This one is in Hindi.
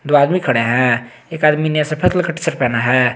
दो आदमी खड़े हैं एक आदमी ने सफेद रंग टीशर्ट पहना है।